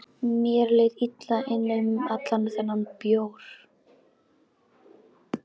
Mér leið illa innan um allan þennan bjór.